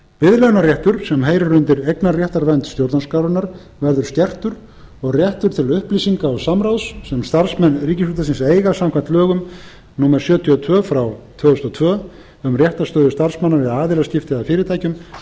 biðlaunaréttur sem heyrir undir eignarréttarvernd stjórnarskrárinnar verður skertur og réttur til upplýsinga og samráðs sem starfsmenn ríkisútvarpsins eiga samkvæmt lögum númer sjötíu og tvö tvö þúsund og tvö um réttarstöðu starfsmanna við aðilaskipti að fyrirtækjum